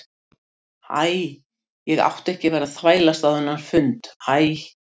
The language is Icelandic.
Æ, ég átti ekki að vera að þvælast á þennan fund æ.